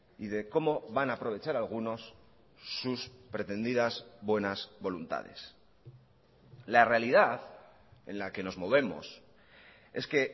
y de cómo van a aprovechar algunos sus pretendidas buenas voluntades la realidad en la que nos movemos es que